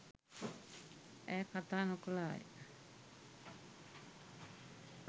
ඈ කතා නොකළාය.